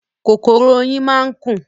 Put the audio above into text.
Kòkòrò oyin máa ń kùn.